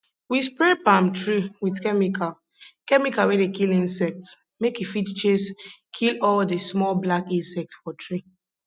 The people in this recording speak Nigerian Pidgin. we spray palm tree with chemical chemical wey dey kill insects make e fit chase kill all the small black insects for tree